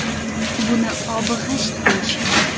Buni obi g‘isht deyishgan.